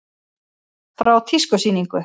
Frá tískusýningu.